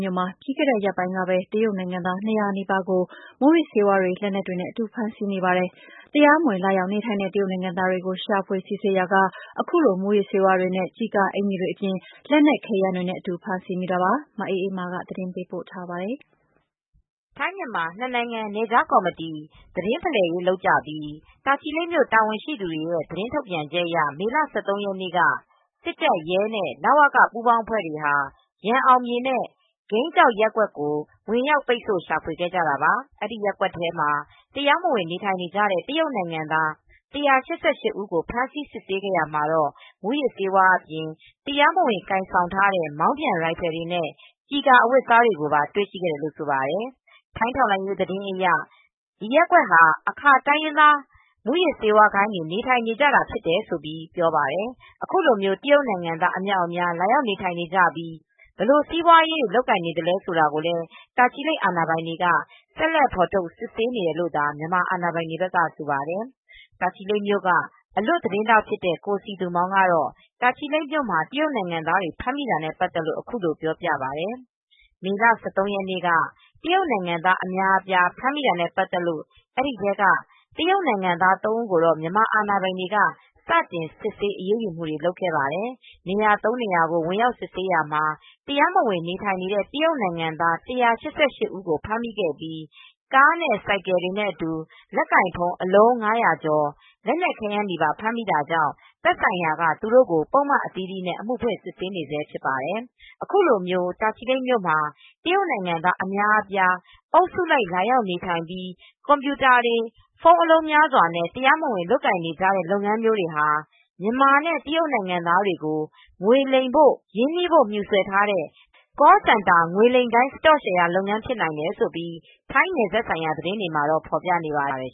မြို့ မှာ ပြီးခဲ့တဲ့ ရက်ပိုင်းက တရုတ်နိုင်ငံသား ၂၀၀ နီးပါးကို မူးယစ်ဆေးဝါးတွေ လက်နက်တွေနဲ့အတူ ဖမ်းဆီးမိပါတယ်။ တရုတ်နိုင်ငံသားတွေကို ရှာဖွေစစ်ဆေးရာက အခုလို မူးယစ်ဆေးဝါးတွေနဲ့ ကျဉ်ကာအကျီ်တွေအပြင် လက်နက် ခဲယမ်းတွေနဲ့ အတူဖမ်းဆီးမိတာပါ။ ထိုင်းအခြေစိုက် voa သတင်းထောက်မအေးအေးမာက သတင်းပေးပို့ ထားပါတယ်။ ထိုင်း- မြန်မာ နှစ်နိုင်ငံ နယ်ခြားကော်မတီ သတင်းဖလှယ်ရေးလုပ်ကြပြီး တာချီလိတ်မြို့ တာဝန်ရှိသူတွေရဲ့ သတင်းထုတ်ပြန်ချက်အရ မေလ ၁၃ ရက်နေ့ က စစ်တပ်၊ ရဲ နဲ့ လဝက ပူးပေါင်းအဖွဲ့တွေဟာ ရန်အောင်မြေနဲ့ ဝိန်းကျောက် ရပ်ကွက်ကို ဝင်ရောက်ပိတ်ဆို့ ရှာဖွေခဲ့ကြတာပါ။ ဒီ ရပ်ကွက် တွေမှာ တရားမဝင် နေထိုင်နေကြတဲ့ တရုတ်နိုင်ငံသား ၁၈၈ ဦးကို ဖမ်းဆီး စစ်ဆေးနေရာ မှာ မူးယစ်ဆေးဝါးအပြင် တရားမဝင် ကိုင်ဆောင်ထားတဲ့ မောင်းပြန်ရိုင်ဖယ် နဲ့ ကျည်ကာအဝတ်အစားတွေကိုပါ တွေ့ရှိခဲ့တယ်လို့ ဆိုပါတယ်။ ထိုင်းထောက်လှမ်းရေး သတင်းတွေအရ အဆိုပါ ရပ်ကွက်ဟာ အာခါ တိုင်းရင်းသား မူးယစ်ဆေးဝါး ဂိုဏ်းတွေ နေထိုင်နေကြတာဖြစ်တယ်လို့ ဆိုပါတယ်။ အခုလိုတရုတ်နိုင်ငံသား အမြောက်အများ လာရောက်နေထိုင်နေပြီး ဘယ်လိုစီးပွားရေးတွေ လုပ်နေတယ်ဆိုတာကို တာချီလိတ် အာဏာပိုင်တွေက ဆက်လက် ဖေါ်ထုတ် စစ်ဆေး နေတယ်လို့သာ မြန်မာအာဏာပိုင်တွေဘက်ကဆိုပါတယ်။ တာချီလိပ်မြို့က အလွတ်သတင်းထောက်ဖြစ်တဲ့ ကိုစည်သူမောင်ကတော့ တာချီလိပ်မြို့မှာ တရုတ်နိုင်ငံသားတွေ ဖမ်းမိတာနဲ့ ပတ်သက်လို့ ပြောပြပါတယ်။ မေလ ၁၃ရက်နေ့က တရုတ်နိုင်ငံသား အများအပြား ဖမ်းမိတာနဲပတ်သက်လို့ အဲဒီထဲကတရုတ်နိုင်ငံသား ၃ဦးကို မြန်မာအာဏာပိုင်တွေ က စတင်စစ်ဆေး အရေးယူမူတွေလုပ်ခဲ့ပါတယ်။ နေရာ ၃နေရာကို ဝင်ရောက်စစ်ဆေးရာမှာ တရားမဝင်နေထိုင်နေတဲ့ တရုတ်နိုင်ငံသား ၁၈၈ဦးကို ဖမ်းမိခဲ့ပြီး ၊ ကား နဲ့ ဆိုင်ကယ်တွေ နဲ့ အတူ လက်ကိုင်ဖုန်းအလုံး ၅၀၀ကျော် လက်နက်ခဲယမ်းတွေနဲ့ ဖမ်းမိတာကြောင့် သက်ဆိုင်ရာက ပုဒ်မအသီးသီးနဲ့ အမူဖွင့်စစ်ဆေးနေဆဲဖြစ်ပါတယ်။ အခုလို တာချီလိတ်မှာ တရုတ်နိုင်ငံသားအများအပြား အုပ်စုလိုက် လာရောက်နေထိုင်ပြီး ကွန်ပြူတာတွေ ဖုန်းအလုံး များစွာနဲ့ တရားမဝင် လုပ်နေကြတဲ့ လုပ်ငန်းမျိုးတွေဟာ မြန်မာနဲ့ တရုတ်နိုင်ငံသားတွေကို ငွေလိမ်ဖို့ ရင်းနှီးဖို့ မြူဆွယ် ထားတဲ့ ကောစင်တာ (call canter) ငွေလိမ်ဂိုဏ်း စတော့ရှယ်ရာ လုပ်ငန်းဖြစ်နိုင်တယ်လို့ ထိုင်းနယ်စပ်ဆိုင်ရာ သတင်းတွေမှာဖေါ်ပြနေပါတယ်